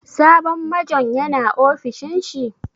Sabon Majon ya na ofishin shi?